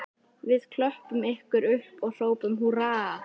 Við klöppum ykkur upp og hrópum húrra